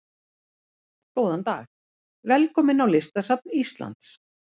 Góðan dag. Velkomin á Listasafn Íslands.